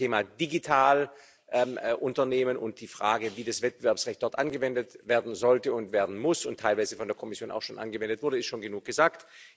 Ich glaube, zum Thema Digitalunternehmen und der Frage, wie das Wettbewerbsrecht dort angewendet werden sollte, werden muss und teilweise von der Kommission auch schon angewendet wurde, ist schon genug gesagt.